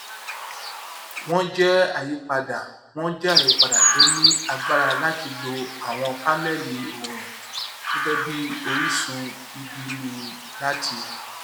wón jé àyípadà wón jé àyípadà tó ní agbára láti lo àwọn paneli oorun gẹgẹ bí orísun ìbíni láti